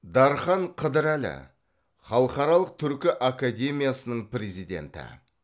дархан қыдырәлі халықаралық түркі академиясының президенті